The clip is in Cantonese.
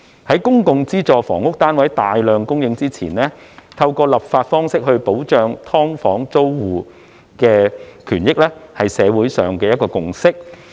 在公共資助房屋單位大量供應前，透過立法方式保障"劏房"租戶的權益，是社會上的一個共識。